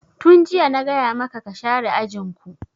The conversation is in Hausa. Tun jiya na gaya maka ka share ajin ku!